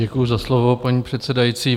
Děkuji za slovo, paní předsedající.